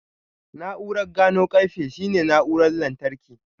Na'urar gano ƙarfe shine na'urar lantarki.